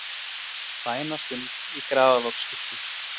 Bænastund í Grafarvogskirkju